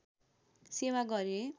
सेवा गरे